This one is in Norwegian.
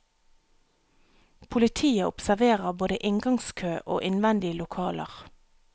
Politiet observerer både inngangskø og innvendige lokaler.